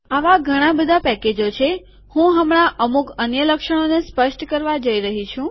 આવા ઘણાં બધાં પેકેજો છે હું હમણાં અમુક અન્ય લક્ષણોને સ્પષ્ટ કરવા જઇ રહયો છું